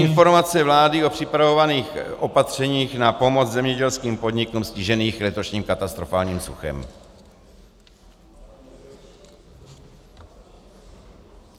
Informace vlády o připravovaných opatřeních na pomoc zemědělským podnikům stiženým letošním katastrofálním suchem.